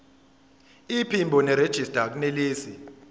iphimbo nerejista akunelisi